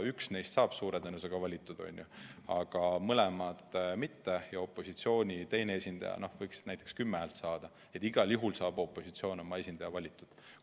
Üks neist saab suure tõenäosusega valitud, on ju, aga mõlemad mitte, sest opositsiooni esindaja võib saada näiteks 10 häält, nii et igal juhul saab opositsioon oma esindaja valitud.